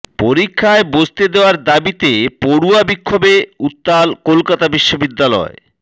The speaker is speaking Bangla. পরীক্ষায় বসতে দেওয়ার দাবিতে পড়ুয়া বিক্ষোভে উত্তাল কলকাতা বিশ্ববিদ্যালয়